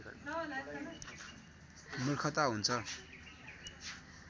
मूर्खता हुन्छ